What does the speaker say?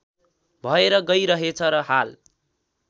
भएर गइरहेछ र हाल